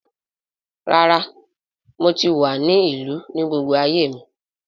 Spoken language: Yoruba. Rára, mo tí wa ni ìlú ní gbogbo ayé mi